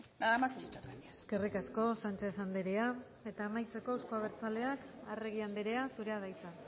nada más y muchas gracias eskerrik asko sanchez andrea eta amaitzeko euzko abertzaleak arregi andrea zurea da hitza